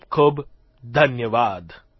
ખૂબખૂબ ધન્યવાદ